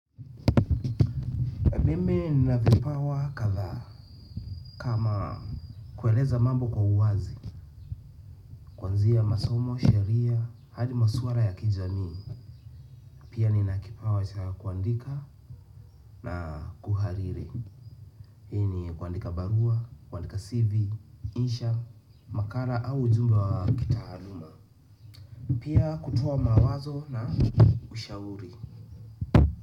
Mimi nina vipawa kadhaa kama kueleza mambo kwa uwazi. Kuanzia masomo, sheria, hadi masuala ya kijamii. Pia nina kipawa cha kuandika na kuhariri. Hii ni kuandika barua, kuandika CV, insha, makala au ujumbe wa kitaaluma. Pia kutoa mawazo na ushauri.